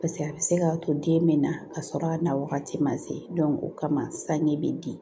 Paseke a bɛ se k'a to den bɛ na ka sɔrɔ a na wagati ma se o kama sanɲɛ bɛ di